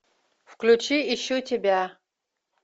включи ищу тебя